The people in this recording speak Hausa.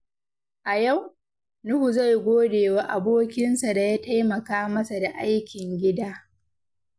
A yau, Nuhu zai gode wa abokinsa da ya taimaka masa da aikin gida.